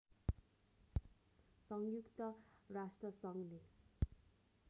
संयुक्त राष्ट्रसङ्घले